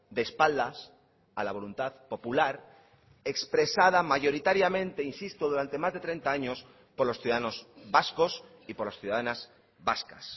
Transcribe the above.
de espaldas a la voluntad popular expresada mayoritariamente insisto durante más de treinta años por los ciudadanos vascos y por las ciudadanas vascas